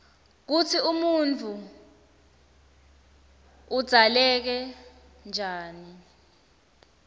kutsi umuntfu udzaleke njani